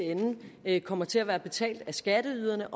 ende kommer til at være betalt af skatteyderne